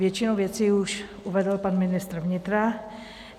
Většinu věcí už uvedl pan ministr vnitra.